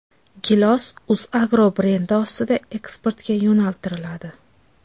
Gilos Uzagro brendi ostida eksportga yo‘naltiriladi.